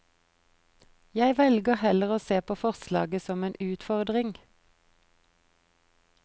Jeg velger heller å se på forslaget som en utfordring.